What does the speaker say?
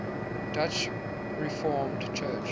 dutch reformed church